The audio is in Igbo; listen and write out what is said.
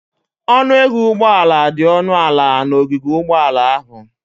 Ọnụ ego ụgbọala dị ọnụ ala n'ogige ụgbọala ahụ.